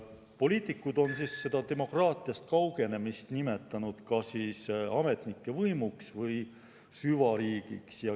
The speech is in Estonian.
Poliitikud on seda demokraatiast kaugenemist nimetanud ka ametnike võimuks või süvariigiks.